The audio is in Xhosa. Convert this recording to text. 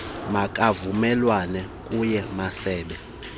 makavumelane kumasebe awo